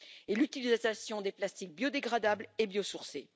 Et l'utilisation des plastiques biodégradables est biosourcée.